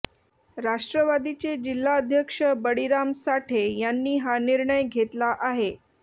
राष्ट्रवादीचे जिल्हाध्यक्ष बळीराम साठे यांनी हा निर्णय घेतला आहे